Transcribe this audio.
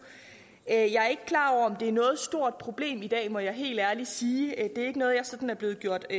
jeg er ikke klar over om det er noget stort problem i dag det må jeg helt ærligt sige det er ikke noget jeg sådan er blevet gjort